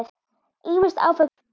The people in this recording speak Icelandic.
Ýmis áföll dundu yfir.